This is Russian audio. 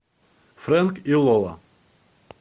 фрэнк и лола